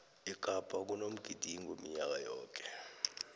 ekapa kunomgidingo minyaka yoke